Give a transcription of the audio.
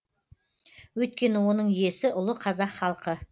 өйткені оның иесі ұлы қазақ халқы